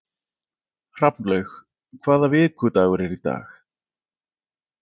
Hrafnlaug, hvaða vikudagur er í dag?